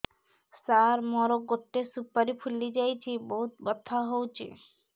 ସାର ମୋର ଗୋଟେ ସୁପାରୀ ଫୁଲିଯାଇଛି ବହୁତ ବଥା ହଉଛି